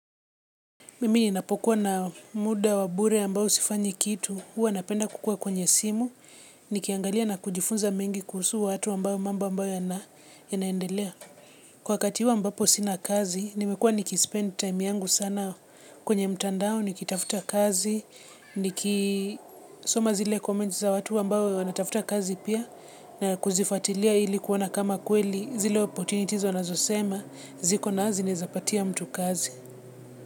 Mimi ninapokuwa na muda wa bure ambao sifanyi kitu, huwa napenda kukua kwenye simu, nikiangalia na kujifunza mengi kuhusu watu ambao mambo ambayo yanaendelea. Kwa kati ambapo sina kazi, nimekua nikispend time yangu sana kwenye mtandao, nikitafuta kazi, nikisoma zile comments za watu ambao wanafuta kazi pia na kuzifuatilia ili kuona kama kweli zile opportunities wanazosema ziko na zinaezapatia mtu kazi.